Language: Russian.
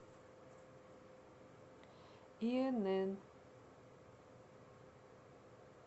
инн